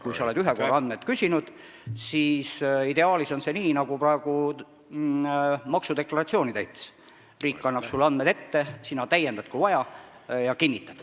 Kui ühe korra on andmeid küsitud, siis ideaalis on edaspidi nii, nagu praegu maksudeklaratsiooni täites: riik annab sulle andmed ette, sina täiendad, kui vaja, ja kinnitad.